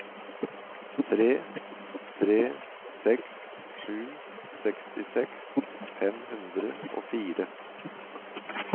tre tre seks sju sekstiseks fem hundre og fire